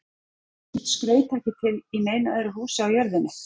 Er þvílíkt skraut ekki til í neinu öðru húsi á jörðinni.